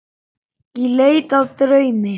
Í leit að draumi.